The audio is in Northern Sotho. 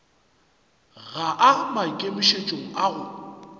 ga a maikemišetšong a go